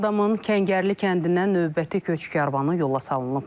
Ağdamın Kəngərli kəndindən növbəti köç karvanı yola salınıb.